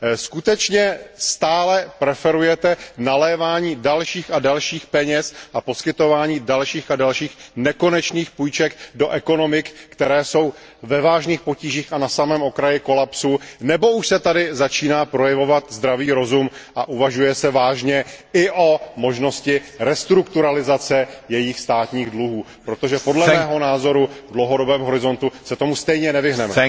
Skutečně stále preferujete nalévání dalších a dalších peněz a poskytování dalších a dalších nekonečných půjček do ekonomik, které jsou ve vážných potížích a na samém okraji kolapsu, nebo už se tady začíná projevovat zdravý rozum a uvažuje se vážně i o možnosti restrukturalizace jejich státních dluhů, protože podle mého názoru se tomu v dlouhodobém horizontu stejně nevyhneme.